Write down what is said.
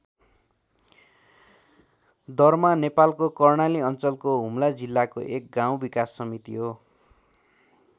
दर्मा नेपालको कर्णाली अञ्चलको हुम्ला जिल्लाको एक गाउँ विकास समिति हो।